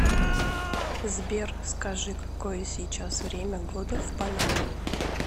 сбер скажи какое сейчас время года в панаме